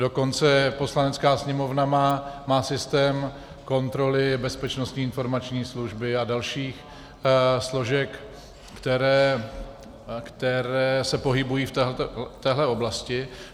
Dokonce Poslanecká sněmovna má systém kontroly Bezpečnostní informační služby a dalších složek, které se pohybují v této oblasti.